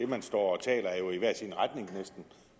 man står